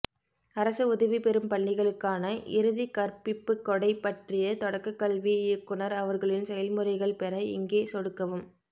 அரசு உதவி பெறும் பள்ளிகளுக்கான இறுதி கற்ப்பிப்பு கொடை பற்றிய தொடக்கக்கல்வி இயக்குனர் அவர்களின் செயல்முறைகள் பெற இங்கே சொடுக்கவும்